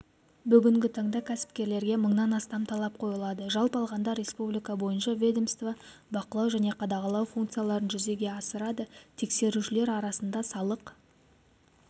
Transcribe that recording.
бүгінгі таңда кәсіпкерлерге мыңнан астам талап қойылады жалпы алғанда республика бойынша ведомство бақылау және қадағалау функцияларын жүзеге асырады тексерушілер арасында салық